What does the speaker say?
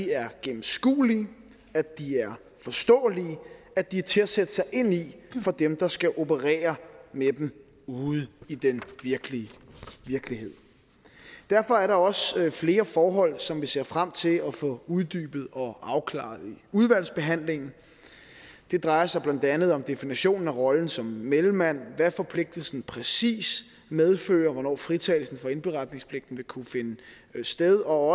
er gennemskuelige at de er forståelige og at de er til at sætte sig ind i for dem der skal operere med dem ud i den virkelige virkelighed derfor er der også flere forhold som vi ser frem til at få uddybet og afklaret i udvalgsbehandlingen det drejer sig blandt andet om definitionen af rollen som mellemmand hvad forpligtelsen præcist medfører hvornår fritagelsen for indberetningspligten vil kunne finde sted og